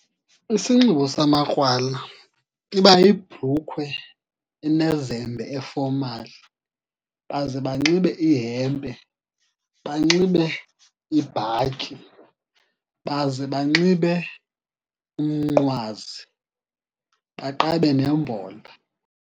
Isinxibo samakrwala iba yibhrukhwe enezembe efomali, baze banxibe ihempe, banxibe ibhatyi, baze banxibe umnqwazi, baqabe nembola.